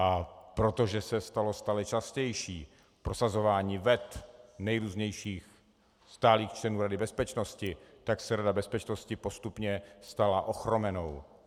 A protože se stalo stále častější prosazování vet nejrůznějších stálých členů Rady bezpečnosti, tak se Rada bezpečnosti postupně stala ochromenou.